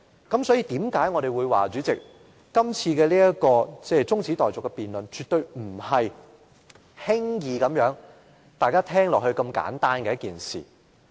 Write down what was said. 因此，為何我們會說，這次中止待續的議案絕對不是大家聽起來很簡單的一件事。